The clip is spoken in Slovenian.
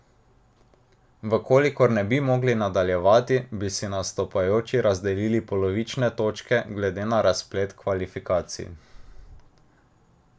V kolikor ne bi mogli nadaljevati, bi si nastopajoči razdelili polovične točke glede na razplet kvalifikacij.